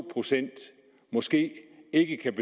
procent måske ikke kan